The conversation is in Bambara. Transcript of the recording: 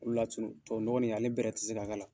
O de y'a to tubabu nɔgɔ nin ale bɛrɛ ti se ka k'a la